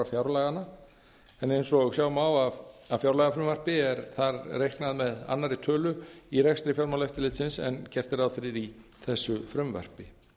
fjárlaganna en eins og sjá má af fjárlagafrumvarpi er þar reiknað með annarri tölu í rekstri fjármálaeftirlitsins en gert er ráð fyrir í þessu frumvarpi